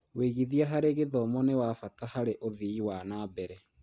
Wĩigithia harĩ gĩthomo nĩ wa bata harĩ ũthii wa na mbere.